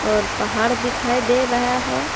और पहाड़ दिखाई दे रहा हैं।